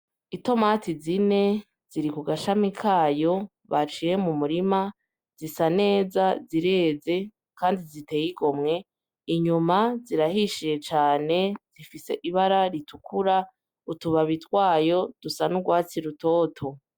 Itomate zine ziri kugashami kayo baciye mumurima zisa neza zireze Kandi ziteye igomwe ,inyuma zirahishiye cane zifise Ibara ritukura utubabi twayo rusa n'urwatsi rutoto